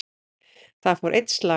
Þar fór einn slagur.